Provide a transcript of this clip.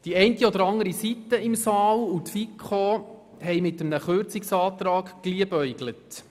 Die eine oder andere Seite im Saal und die FiKo haben mit einem Kürzungsantrag geliebäugelt.